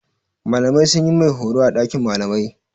Malamai sun yi mai horo a ɗakin malamai.